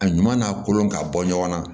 A ɲuman n'a kolon ka bɔ ɲɔgɔn na